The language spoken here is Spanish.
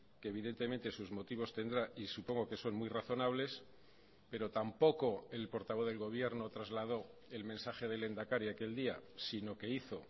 que evidentemente sus motivos tendrá y supongo que son muy razonables pero tampoco el portavoz del gobierno trasladó el mensaje del lehendakari aquel día sino que hizo